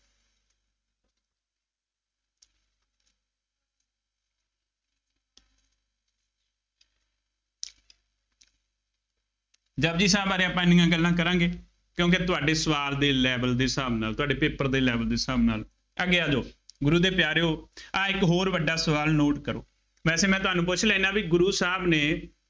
ਜਪੁਜੀ ਸਾਹਿਬ ਬਾਰੇ ਆਪਾਂ ਐਨੀਆਂ ਗੱਲਾਂ ਕਰਾਂਗੇ, ਕਿਉਂਕਿ ਤੁਹਾਡੇ ਸਵਾਲ ਦੇ level ਦੇ ਹਿਸਾਬ ਦੇ ਨਾਲ, ਤੁਹਾਡੇ paper ਦੇ level ਦੇ ਹਿਸਾਬ ਨਾਲ, ਅੱਗੇ ਆ ਜਾਉ, ਗੁਰੂ ਦੇ ਪਿਆਰਿਉ ਆਹ ਇੱਕ ਹੋਰ ਵੱਡਾ ਸਵਾਲ note ਕਰੋ। ਵੈਸੇ ਮੈਂ ਤੁਹਾਨੂੰ ਪੁੱਛ ਲੈਂਦਾ ਬਈ ਗੁਰੂ ਸਾਹਿਬ ਨੇ